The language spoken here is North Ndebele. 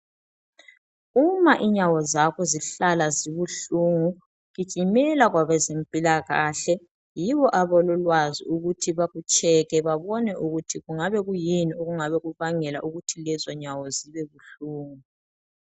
Uma inyawo zakho zihlala zibuhlungu gijimela kwabezempilakahle, yibo abalolwazi ukuthi bakutshekhe babone ukuthi kungabe kuyini okubangela ukuthi lezo nyawo ukuthi zibebuhlungu